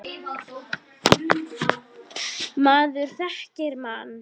Maður þekkir mann.